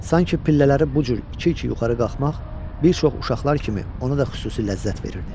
Sanki pillələri bu cür iki-iki yuxarı qalxmaq bir çox uşaqlar kimi ona da xüsusi ləzzət verirdi.